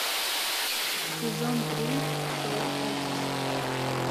сезон три шоу офис